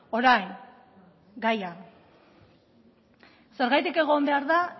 orain gaia zergatik egon behar da